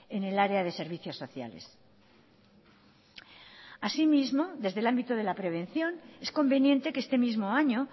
en el área de servicios sociales así mismo desde el ámbito de la prevención es conveniente que este mismo año